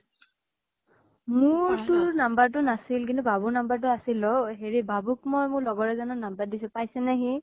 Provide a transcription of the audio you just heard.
মোৰ তোৰ number টো নাছিল, কিন্তু বাবুৰ number টো আছিল অ। হেৰি বাবুক মই মোৰ লগৰ এজনৰ number দিছিলো পাইছেনে সি?